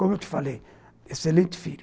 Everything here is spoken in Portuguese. Como eu te falei, excelente filho.